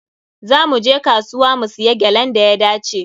Za mu je kasuwa mu siya gyalan da ya dace.